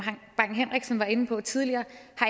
bang henriksen var inde på tidligere